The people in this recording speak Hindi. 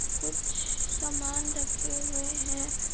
कुछ सामान रखे हुए है।